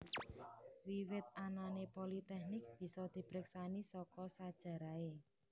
Wiwit anané politeknik bisa dipreksani saka sajarahé